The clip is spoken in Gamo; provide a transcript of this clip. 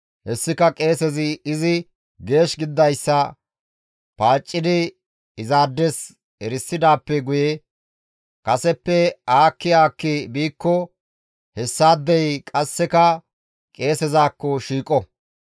Hessika qeesezi izi geesh gididayssa paaccidi izaades erisidaappe guye qasseka madunththay kaseppe aakki aakki biikko hessaadey qasseka qeesezakko shiiqo.